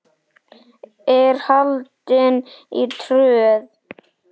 er haldin í Tröð.